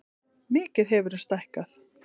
Mikið hefurðu stækkað.